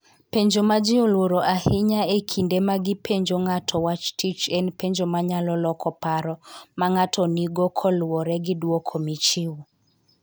Penjo ma ji oluoro ahinya e kinde ma gipenjo ng'ato wach tich en penjo manyalo loko paro ma ng'ato nigo kaluwore gi dwoko michiwo.